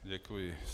Děkuji.